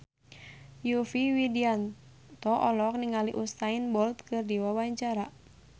Yovie Widianto olohok ningali Usain Bolt keur diwawancara